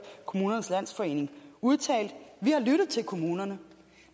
kommunernes landsforening udtale vi har lyttet til kommunerne